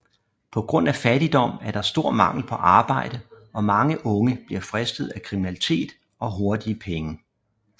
På grund af fattigdom er der stor mangel på arbejde og mange unge bliver fristet af kriminalitet og hurtige penge